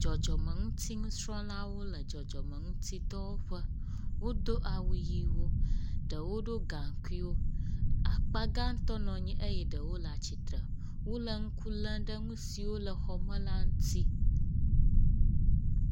Dzɔdzɔmeŋutinusrɔ̃lawo le dzɔdzɔmeŋutidɔwɔƒe. wodo awu ʋiwo ɖewo ɖo gaŋkuiwo. Akpa gãtɔ nɔ anyi eye ɖewo le atsitre. Wo le ŋku lem ɖe nu siwo le xɔme la ŋuti.